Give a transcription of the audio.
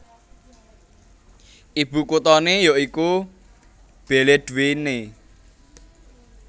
Ibukuthané ya iku Beledweyne